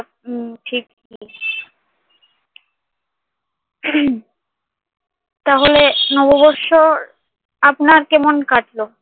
উম ঠিকই তাহলে নববৎসর আপনার কেমন কাটলো?